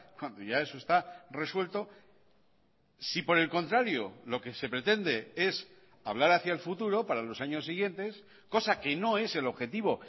cuando ya eso está resuelto si por el contrario lo que se pretende es hablar hacia el futuro para los años siguientes cosa que no es el objetivo